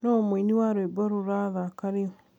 nuu mũĩnĩ wa rwĩmbo rurathaka riu